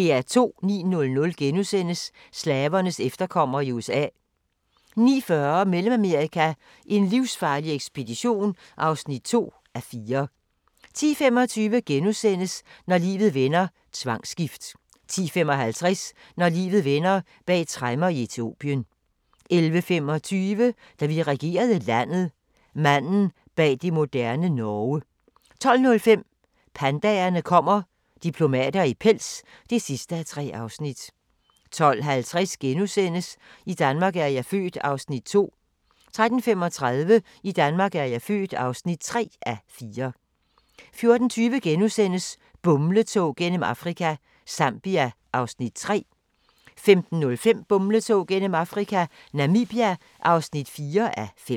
09:00: Slavernes efterkommere i USA * 09:40: Mellemamerika: en livsfarlig ekspedition (2:4) 10:25: Når livet vender: Tvangsgift * 10:55: Når livet vender: Bag tremmer i Etiopien 11:25: Da vi regerede landet – manden bag det moderne Norge 12:05: Pandaerne kommer – diplomater i pels (3:3) 12:50: I Danmark er jeg født (2:4)* 13:35: I Danmark er jeg født (3:4) 14:20: Bumletog gennem Afrika – Zambia (3:5)* 15:05: Bumletog gennem Afrika - Namibia (4:5)